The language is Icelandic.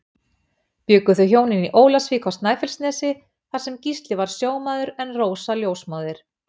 Bjuggu þau hjónin í Ólafsvík á Snæfellsnesi þar sem Gísli var sjómaður en Rósa ljósmóðir.